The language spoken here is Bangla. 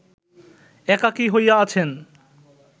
একাকী হইয়া আছেন